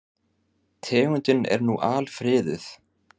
Tegundin er nú alfriðuð.